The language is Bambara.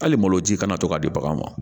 Hali malo ji kana to ka di baganw ma